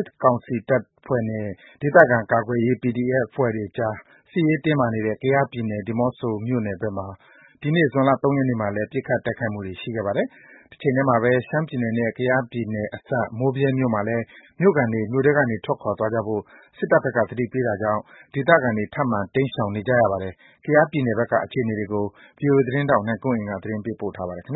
စ်ကောင်စီတပ်ဖွဲ့နဲ့ ဒေသခံကာကွယ်ရေး PDF အဖွဲ့တွေကြား စစ်ရေးတင်းမာနေတဲ့ ကယားပြည်နယ် ဒီးမော့ဆိုမြို့နယ်ဘက်မှာ ဒီနေ့ ဇွန်လ ၃ ရက်နေ့မှာလည်း ပစ်ခတ်တိုက်ခိုက်မှုတွေရှိခဲ့ပါတယ်။ တချိန်တည်းမှာပဲ ရှမ်းပြည်နယ်နဲ့ ကယားပြည်နယ်အစပ် မိုးဗြဲမြို့မှာလည်း မြို့ခံတွေ မြို့ထဲကနေ ထွက်သွားကြဖို့ စစ်တပ်ဘက်က သတိပေးတာကြောင့် ဒေသခံတွေ ထပ်မံတိမ်းရှောင်နေရပါတယ်။ ကယားပြည်နယ်ဘက်က အခြေအနေတွေကို ဗွီအိုအေသတင်းထောက် ကိုနိုင်ကွန်းအိန်က သတင်းပေးပို့ထားပါတယ်။ က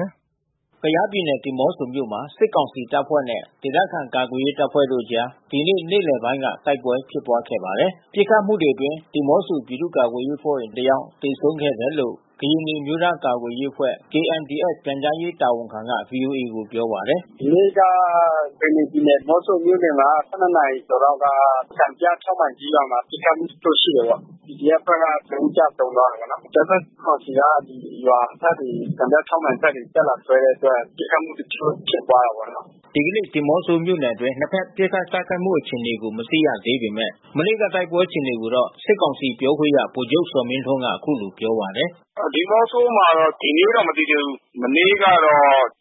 ယားပြည်နယ် ဒီးမော့ဆိုမြို့မှာ စစ်ကောင်စီတပ်ဖွဲ့နဲ့ ဒေသခံကာကွယ်ရေးအဖွဲ့တို့အကြား ဒီနေ့ နေ့လယ်ပိုင်းက တိုက်ပွဲဖြစ်ပွါးခဲ့ပါတယ်။ ပစ်ခတ်မှုတွေအတွင်း ဒီးမော့ဆို ပြည်သူ့ကာကွယ်ရေးအဖွဲ့ဝင်တယောက် သေဆုံးတယ်လို့ ကရင်နီအမျိုးသားကာကွယ်ရေးအဖွဲ့ KNDF ပြန်ကြားရေးတာဝန်ခံက ဗွီအိုအေကို ပြောပါတယ်။ "ဒီနေ့က ကရင်နီပြည်နယ် ဒီးမော့ဆိုမြို့နယ်မှာ ၁၂ နာရီကျော်လောက်က စံပြ ၆ မိုင်ကြီးရွာမှာ ပစ်ခတ်မှုတချို့ ရှိတယ်ပေါ့။ PDF အဖွဲ့ဘက်က တဦးကျဆုံးတယ်ပေါ့နော်။ အကြမ်းဖက်ကောင်စီက ရွာဘက်ကို စံပြ ၆ မိုင်ဘက်ကို တက်လာခဲ့တဲ့အတွက် ပစ်ခတ်မှုတချို့ဖြစ်ပွါးတာပေါ့နော်။" ဒီကနေ့ ဒီးမော့ဆိုမြို့နယ်အတွင်း နှစ်ဘက်ပစ်ခတ်တိုက်ခိုက်မှု အခြေအနေကို မသိရသေးပေမဲ့ မနေ့က တိုက်ပွဲအခြေအနေကိုတော့ စစ်ကောင်စီပြောခွင့်ရဗိုလ်ချုပ်ဇော်မင်းထွန်းကအခုလိုပြောပါတယ်။ "ဒီးမော့ဆိုမှာတော့ ဒီနေ့တော့ မသိသေးဘူူး။ မနေ့ကတော့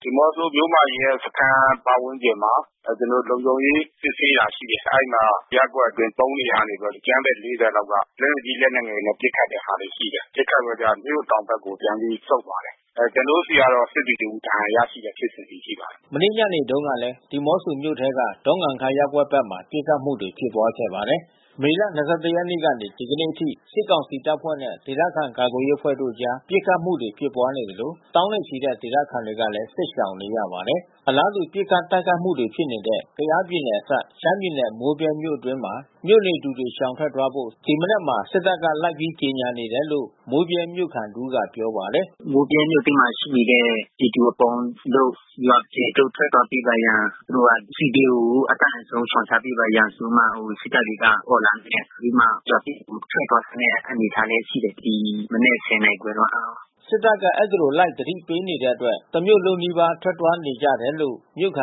ဒီးမော့ဆိုမြို့မ ရဲစခန်း ပတ်ဝန်းကျင်မှာ ကျနော်တို့ လုံခြုံရေးစစ်ဆေးတာ ရှိတယ်။ အဲဒီမှာ ရပ်ကွက်အတွင်း ၃ နေရာကနေပြီးတော့ အကြမ်းဖက် ၄၀ လောက်က လက်နက်ကြီး၊ လက်နက်ငယ်တွေနဲ့ ပစ်ခတ်တဲ့ဟာတွေ ရှိတယ်။ ပစ်ခတ်ပြီးတော့ မြို့တောင်ဘက်ကို ပြန်ပြီး ဆုတ်သွားတယ်။ ကျနော်တို့ဆီကတော့ စစ်သည် တဦးဒဏ်ရာရတဲ့ဖြစ်စဉ်တွေ ရှိပါတယ်။ မနေ့ညနေတုန်းကလည်း ဒီးမော့ဆိုမြို့ထဲက ဒေါ့ငံခါးရပ်ကွက်ဘက်မှာ ပစ်ခတ်မှုတွေဖြစ်ပွါးခဲ့ပါတယ်။ မေလ ၂၁ ရက်နေ့ကနေ ဒီကနေ့အထိ စစ်ကောင်စီတပ်ဖွဲ့နဲ့ ဒေသခံကာကွယ်ရေးအဖွဲ့တို့အကြား ပစ်ခတ်မှုတွေဖြစ်ပွါးနေသလို သောင်းနဲ့ချီတဲ့ဒေသခံတွေလည်း စစ်ရှောင်နေရပါတယ်။ အလားတူ ပစ်ခတ် တိုက်ခိုက်မှုတွေဖြစ်နေတဲ့ ကယားပြည်နယ်အစပ် ရှမ်းပြည်နယ် မိုးဗြဲမြို့အတွင်းမှာ မြို့နေသူတွေ ရှောင်ထွက်သွားဖို့ ဒီမနက်မှာ စစ်တပ်က လိုက်ပြီးကြေညာနေတယ်လို့ မိုးဗြဲမြို့ခံတဦးကပြောပါတယ်။ "မိုးဗြဲမြို့အတွင်းမှာ ရှိနေတဲ့ပြည်သူအပေါင်းတို့ ရွာအပြင်သို့ ထွက်သွားပေးပါရန် သူတို့ကစစ်ဘေးကို အတတ်နိုင်ဆုံး ရှောင်ရှားပေးပါရန် ဆိုပြီးမှ စစ်တပ်တွေက အော်လံနဲ့ အော်ပြီးမှ ရွာထဲကို ထွက်သွားခိုင်းတဲ့ အနေအထားလည်း ရှိတယ်။ ဒီမနက် ၁၀ နာရီခွဲတုန်းက။" စစ်တပ်က အဲဒီလို လိုက်သတိပေးနေတဲ့အတွက် တမြို့လုံးနီးပါး ထွက်သွားနေကြတယ်လို့ သူက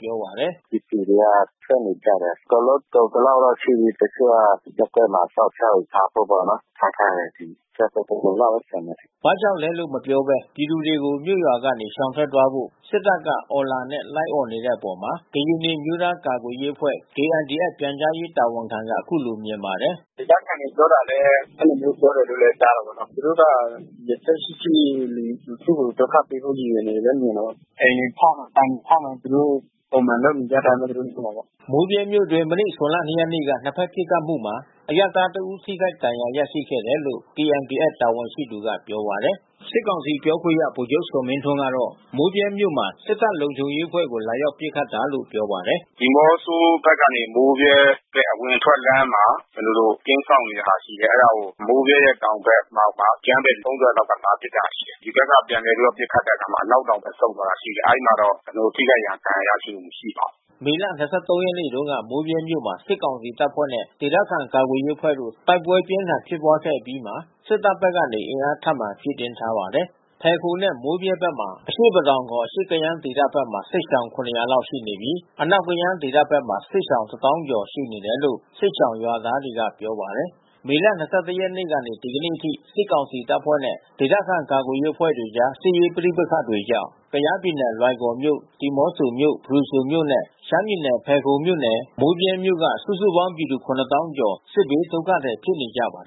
ပြောပါတယ်။ "ပြည်သူတွေက ထွက်နေကြတယ်။ အကုန်လုံး ကုန်သလောက်တော့ ရှိပြီ။ တချို့က ရပ်ကွက်မှာ အစောင့်ရှောက်တွေ ထားဖို့ပေါ့နော်။ ထားထားတယ်။ ဆယ်ပုံတပုံလောက်ပဲ ကျန်တယ်။" ဘာကြောင့်လဲလို့ မပြောဘဲ ပြည်သူတွေကို မြို့ရွာကနေ ရှောင်ထွက်သွားဖို့ စစ်တပ်က အော်လံနဲ့ လိုက်အော်နေတဲ့အပေါ် ကရင်နီအမျိုးသား ကာကွယ်ရေးအဖွဲ့ KNDF ပြန်ကြားရေးတာဝန်ခံက အခုလိုမြင်ပါတယ်။ "ဒေသခံတွေပြောတာလည်း အဲဒီလိုမျိုးပဲ ကြားတာပေါ့နော်။ သူတို့က ရည်ရွယ်ချက်ရှိရှိ လူထုကို ဒုက္ခပေးဖို့ ရည်ရွယ်တယ်လို့ပဲမြင်တယ်။ အိမ်တွေဖောက်မယ်၊ ဆိုင်တွေဖောက်မယ်။ သူတို့ ပုံမှန်လုပ်နေကြအတိုင်းပဲ သူတို့... ထင်တာပေါ့။" မိုးဗြဲမြို့အတွင်း မနေ့ ဇွန်လ ၂ ရက်နေ့က နှစ်ဘက်ပစ်ခတ်မှုမှာ အရပ်သားတဦး ထိခိုက်ဒဏ်ရာရရှိခဲ့တယ်လို့ KNDF တာဝန်ရှိသူက ပြောပါတယ်။ စစ်ကောင်စီပြောခွင့်ရ ဗိုလ်ချုပ်ဇော်မင်းထွန်းကတော့ မိုးဗြဲမြို့မှာ စစ်တပ်လုံခြုံရေးအဖွဲ့ကို လာရောက်ပစ်ခတ်တာလို့ ပြောပါတယ်။ "ဒီးမော့ဆိုဘက်ကနေ မိုးဗြဲဘက်အဝင်အထွက်လမ်းမှာ ကျနော်တို့ ကင်းစောင့်နေတဲ့ဟာရှိတယ်။ အဲဒါကို မိုးဗြဲရဲ့ တောင်ဘက်လောက်မှာ အကြမ်းဖက် ၃၀ လောက်က လာပစ်တာရှိတယ်။ ဒီဘက်က ပြန်ပြီး ပစ်ခတ်တဲ့အခါမှာ အနောက်တောင်ဘက် ပြန်ဆုတ်သွားတာရှိတယ်။ အဲဒီမှာတော့ ကျနော်တို့ ထိခိုက်ဒဏ်ရာရရှိမှု မရှိပါဘူး။" မေလ ၂၃ ရက်နေ့တုန်းက မိုးဗြဲမြို့မှာ စစ်ကောင်စီတပ်ဖွဲ့နဲ့ ဒေသခံကာကွယ်ရေးအဖွဲ့တို့ တိုက်ပွဲပြင်းထန်ဖြစ်ပွါးခဲ့အပြီးမှာ စစ်တပ်ဘက်ကနေ အင်အားထပ်မံဖြည့်တင်းထားပါတယ်။ ဖယ်ခုံနဲ့ မိုးဗြဲဘက်၊ အရှေ့ပဒေါင်ခေါ် အရှေ့ကယန်းဒေသဘက်မှာ စစ်ရှောင် ၇၀၀ လောက်ရှိပြီး အနောက်ကယန်းဒေသဘက်မှာ စစ်ရှောင် ၁၀,၀၀၀ ကျော် ရှိနေတယ်လို့ စစ်ရှောင်ရွာသားတွေက ပြောပါတယ်။ မေလ ၂၁ ရက်နေ့ကနေ ဒီကနေ့အထိ စစ်ကောင်စီတပ်ဖွဲ့နဲ့ ဒေသခံကာကွယ်ရေးအဖွဲ့တွေကြား စစ်ရေးပဋိပက္ခတွေကြောင့် ကယားပြည်နယ် လွိုင်ကော်မြို့၊ ဒီးမော့ဆိုမြို့၊ ဖရူဆိုမြို့နဲ့ ရှမ်းပြည်နယ် ဇယ်ခုန်မြို့နယ် မိုးဗြဲမြို့တွေက စုစုပေါင်း ပြည်သူ ၇၀,၀၀၀ ကျော် စစ်ဘေးဒုက္ခသည် ဖြစ်နေကြပါတယ်